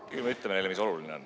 Küll me ütleme neile, mis oluline on.